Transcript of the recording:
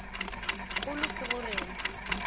kgolo ke go re na